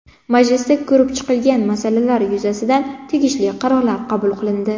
Majlisda ko‘rib chiqilgan masalalar yuzasidan tegishli qarorlar qabul qilindi.